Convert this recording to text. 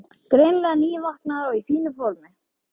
Greinilega nývaknaður og í fínu formi.